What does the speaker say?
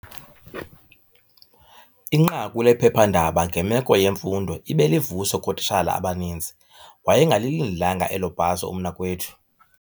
Inqaku lephephandaba ngemeko yemfundo ibe livuso kootitshala abaninzi. Wayengalilindelanga elo bhaso umnakwethu